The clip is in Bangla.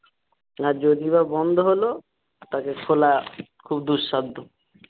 আর যদি বা বন্ধ হলো তাকে খোলা খুব দুসাধ্য।